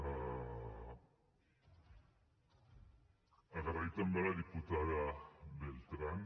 agrair també a la diputada beltrán